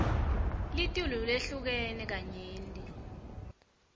litulu lehlukene kanyenti